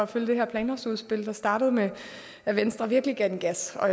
følge det her planlovsudspil der startede med at venstre virkelig gav den gas og